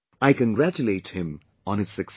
I congratulate him on his success